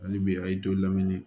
Ani bi a y'i to lamini